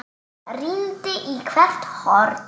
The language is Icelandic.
Rýndi í hvert horn.